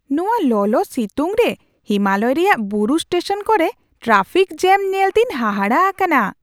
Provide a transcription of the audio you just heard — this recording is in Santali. ᱱᱚᱶᱟ ᱞᱚᱞᱚᱼᱥᱤᱛᱩᱝ ᱨᱮ ᱦᱤᱢᱟᱞᱚᱭ ᱨᱮᱭᱟᱜ ᱵᱩᱨᱩ ᱥᱴᱮᱥᱚᱱ ᱠᱚᱨᱮ ᱴᱨᱟᱯᱷᱤᱠ ᱡᱮᱹᱢ ᱧᱮᱞᱛᱮᱧ ᱦᱟᱦᱟᱲᱟᱜ ᱟᱠᱟᱱᱟ !